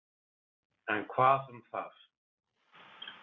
En hvað um það.